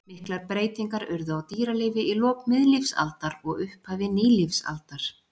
Miklar breytingar urðu á dýralífi í lok miðlífsaldar og upphafi nýlífsaldar.